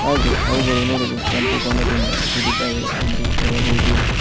ಹಾಗೆ ಅವುಗಳು ನೋಡಲು ಕೆಂಪು ಬಣ್ಣದಿಂದ ಕೂಡಿದ್ದಾವೆ ಎಂದು ಹೇಳಬಹುದು.